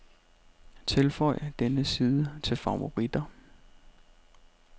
Tilføj denne side til favoritter.